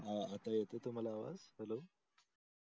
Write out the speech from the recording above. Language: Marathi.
आता येते तुम्हाला आवाज hello